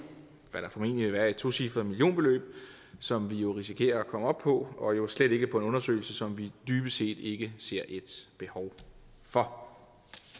hvad der formentlig vil være et tocifret millionbeløb som vi risikerer at komme op på og jo slet ikke på en undersøgelse som vi dybest set ikke ser et behov for